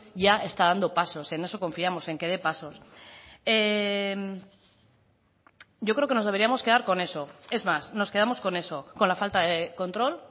ya está dando pasos en eso confiamos en que dé pasos yo creo que nos deberíamos quedar con eso es más nos quedamos con eso con la falta de control